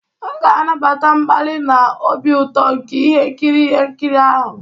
M ga-anabata mkpali na obi ụtọ nke ihe nkiri ihe nkiri ahụ.